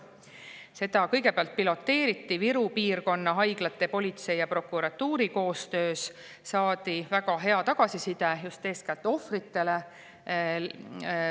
Seda kõigepealt piloteeriti Viru piirkonna haiglate, politsei ja prokuratuuri koostöös ning saadi väga hea tagasiside just eeskätt ohvritelt.